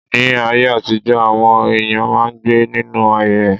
Ní aye àtijọ́ àwọn èyàn máà ń gbé ninu ahèré.